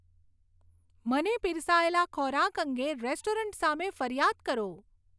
મને પીરસાયેલા ખોરાક અંગે રેસ્ટોરન્ટ સામે ફરિયાદ કરો